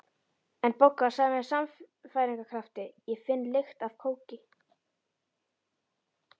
En Bogga sagði með sannfæringarkrafti: Ég finn lykt af kóki